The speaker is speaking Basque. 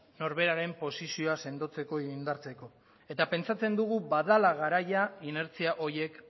norberaren posizioa sendotzeko edo indartzeko eta pentsatzen dugu badela garaia inertzia horiek